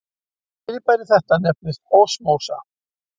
Fyrirbæri þetta nefnist osmósa.